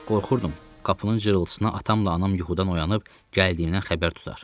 Qorxurdum, qapının cırıltısına atamla anam yuxudan oyanıb gəldiyimdən xəbər tutar.